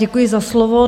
Děkuji za slovo.